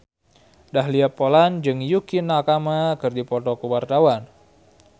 Dahlia Poland jeung Yukie Nakama keur dipoto ku wartawan